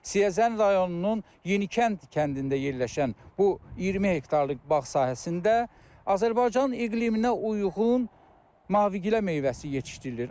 Siyəzən rayonunun Yenikənd kəndində yerləşən bu 20 hektarlıq bağ sahəsində Azərbaycan iqliminə uyğun mavigilə meyvəsi yetişdirilir.